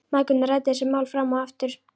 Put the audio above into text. Mæðgurnar ræddu þessi mál fram og aftur.